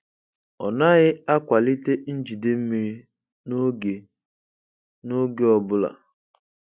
Ọ naghị akwalite njide mmiri n'oge ọ n'oge ọ bụla.